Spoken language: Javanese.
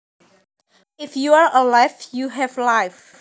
If you are alive you have life